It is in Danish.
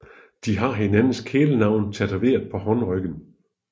De har hinandens kælenavne tatoveret på håndryggen